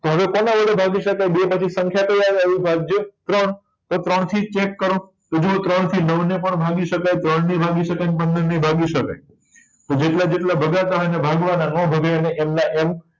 તો હવે કોના વડે ભાગી શકાય બે પછી સંખ્યા કઈ આવે અવિભાજ્ય ત્રણ તો ત્રણ થી check કરો તો જોઉં ત્રણ થી નવ ને પણ ભાગી શકાય તત્રણ ને ભાગી શક્ય ને પંદર ને ભાગી શકાય તો જેટલા જેટલા ભાગતા હોય એટલા ભાગવા ના નાં ભાગે એમના એમ